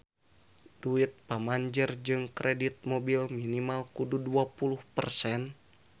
Duit pamanjer jang kredit mobil minimal kudu dua puluh persen